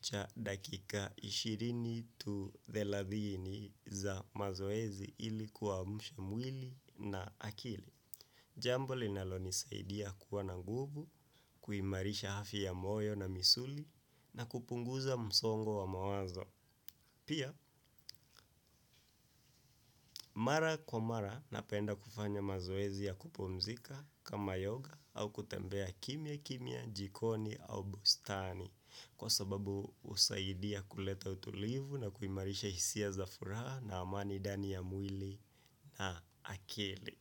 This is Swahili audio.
cha dakika ishirini to thelathini za mazoezi ili kuamsha mwili na akili. Jambo linalonisaidia kuwa na nguvu, kuimarisha afya ya moyo na misuli na kupunguza msongo wa mawazo. Pia, mara kwa mara napenda kufanya mazoezi ya kupumzika kama yoga au kutembea kimya kimya jikoni au bustani. Kwa sababu husaidia kuleta utulivu na kuimarisha hisia za furaha na amani ndani ya mwili na akili.